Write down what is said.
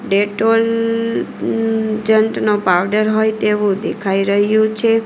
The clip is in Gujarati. ડેટોલ જન્ટનો પાવડર હોય તેવું દેખાઈ રહ્યું છે.